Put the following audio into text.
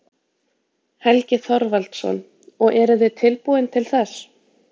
Helgi Þorvaldsson: Og eruð þið tilbúin til þess?